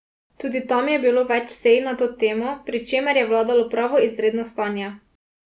Tudi tam je bilo več sej na to temo, pri čemer je vladalo pravo izredno stanje.